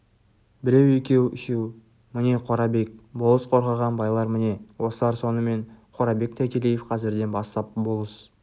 біреу екеу үшеу міне қорабек болыс қорғаған байлар міне осылар сонымен қорабек тайтелиев қазірден бастап болыс